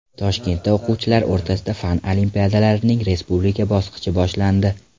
Toshkentda o‘quvchilar o‘rtasida fan olimpiadalarining respublika bosqichi boshlandi.